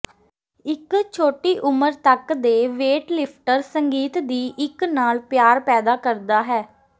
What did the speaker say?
ਇੱਕ ਛੋਟੀ ਉਮਰ ਤੱਕ ਦੇ ਵੇਟਲਿਫਟਰ ਸੰਗੀਤ ਦੀ ਇੱਕ ਨਾਲ ਪਿਆਰ ਪੈਦਾ ਕਰਦਾ ਹੈ